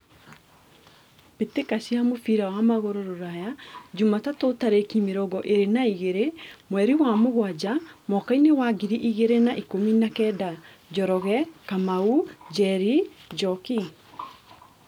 Mbĩtĩka cia mũbira wa magũrũ Ruraya Jumatatũ tarĩki mĩrongo ĩrĩ na igĩrĩ mweri wa mũgwanja mwakainĩ wa ngiri igĩrĩ na ikũmi na kenda : Njoroge, Kamau, Njeri, Njoki.